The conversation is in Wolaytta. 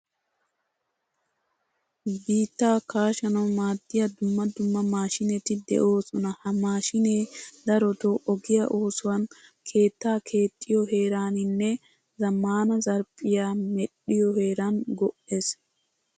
Biittaa kaashshanawu maadiyaa dumma dumma maashinetti deosona. Ha mashshine darotto ogiyaa oosuwaan, keettaa keexxiyo heeraninne zamaana zarphphiyaa medhdhiyo heeran go'ees.